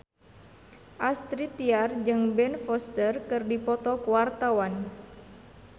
Astrid Tiar jeung Ben Foster keur dipoto ku wartawan